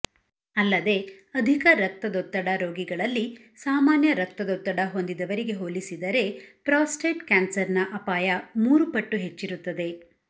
ಅಲ್ಲದೆ ಅಧಿಕ ರಕ್ತದೊತ್ತಡ ರೋಗಿಗಳಲ್ಲಿ ಸಾಮಾನ್ಯ ರಕ್ತದೊತ್ತಡ ಹೊಂದಿದವರಿಗೆ ಹೋಲಿಸಿದರೆ ಪ್ರಾಸ್ಟೇಟ್ ಕ್ಯಾನ್ಸರ್ನ ಅಪಾಯ ಮೂರು ಪಟ್ಟು ಹೆಚ್ಚಿರುತ್ತದೆ